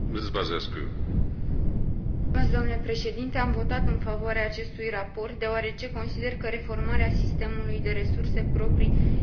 Am votat în favoarea acestui raport deoarece consider că reformarea sistemului de resurse proprii din Uniunea Europeană reprezintă un pas înainte.